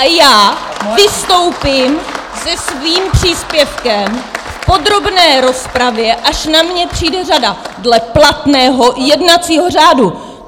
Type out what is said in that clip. A já vystoupím se svým příspěvkem v podrobné rozpravě, až na mě přijde řada - dle platného jednacího řádu!